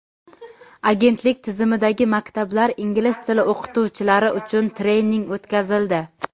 Agentlik tizimidagi maktablar ingliz tili o‘qituvchilari uchun trening o‘tkazildi.